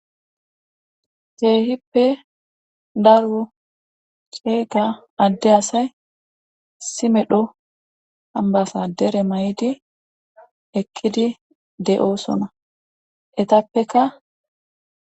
Kehippe daro ceega adde asay simedho hambasa dere may7idi ekkidi de7oosona etappeka